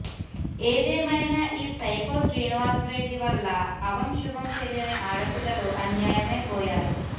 ఏదేమైనా ఈ సైకో శ్రీనివాస్ రెడ్డి వల్ల అభంశుభం తెలియని ఆడపిల్లలు అన్యాయమై పోయారు